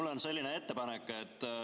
Mul on selline ettepanek.